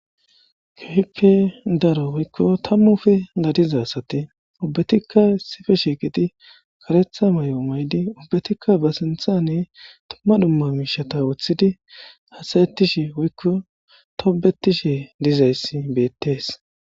keehippe daro woykko tammufe gadizasati obbetikka sife shiiqiti karetha may7o maydi obbetikka ba sinthane tumma dhumma miishata woththidi hasayettishi woykko tobetishi dizayssi bettees